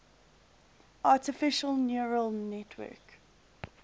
artificial neural network